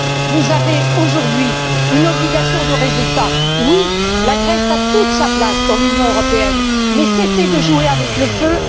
Vous avez aujourd'hui une obligation de résultat, oui la Grèce a toute sa place dans l'Union européenne mais cessez de jouer avec le feu.